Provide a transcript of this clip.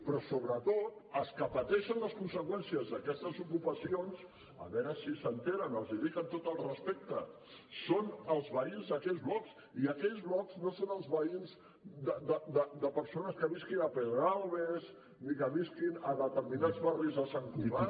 però sobretot els que pateixen les conseqüències d’aquestes ocupacions a veure si se n’assabenten els hi dic amb tot el respecte són els veïns d’aquells blocs i aquells blocs no són els veïns de persones que visquin a pedralbes ni que visquin a determinats barris de sant cugat